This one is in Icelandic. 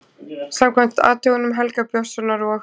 Samkvæmt athugunum Helga Björnssonar og